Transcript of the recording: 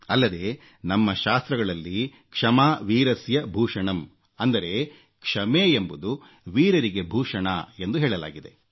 ಅಲ್ಲದೆ ನಮ್ಮ ಶಾಸ್ತ್ರಗಳಲ್ಲಿ ಕ್ಷಮಾ ವೀರಸ್ಯ ಭೂಷಣಂ ಅಂದರೆ ಕ್ಷಮೆ ಎಂಬುದು ವೀರರಿಗೆ ಭೂಷಣ ಎಂದು ಹೇಳಲಾಗಿದೆ